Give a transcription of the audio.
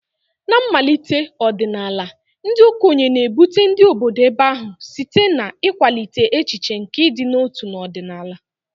Na mmalite ọdịnala, ndị okenye na-ebute ndị obodo ebe ahụ site n'ịkwalite echiche nke ịdị n'otu na ọdịnala.